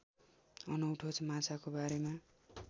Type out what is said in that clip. अनौठो माछाको बारेमा